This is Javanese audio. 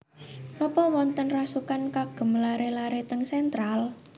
Nopo wonten rasukan kagem lare lare teng Central?